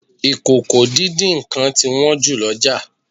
Ìkòkò-díndín-nǹkan ti wón jù l'oja.